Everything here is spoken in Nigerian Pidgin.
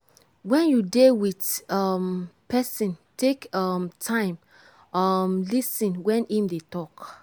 when you dey with um person take um time um lis ten when im dey talk